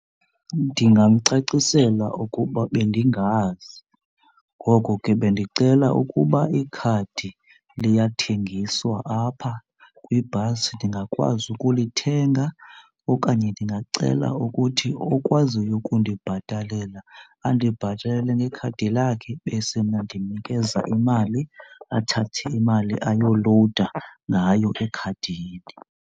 Ndingamcacisela ukuba bendingazi ngoko ke bendicela ukuba ikhadi liyathengiswa apha kwibhasi ndingakwazi ukulithenga. Okanye ndingacela ukuthi okwaziyo ukundibhatalela andibhatalele ngekhadi lakhe bese mna ndimnikeza imali, athathe imali ayolowuda ngayo ekhadini.